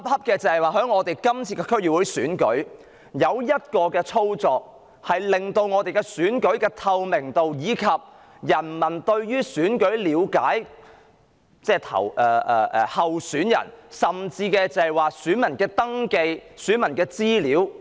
但這次區選卻有一個操作，不但損害了選舉的透明度及市民對候選人的了解，甚至隱瞞了選民登記資料。